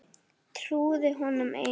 Trúði honum einum.